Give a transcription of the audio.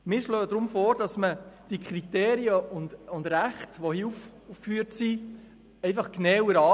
Deshalb schlagen wir vor, dass die hier aufgeführten Kriterien und Rechte genauer betrachtet werden.